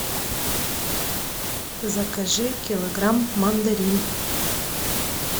закажи килограмм мандарин